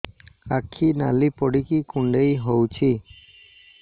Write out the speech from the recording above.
ଆଖି ନାଲି ପଡିକି କୁଣ୍ଡେଇ ହଉଛି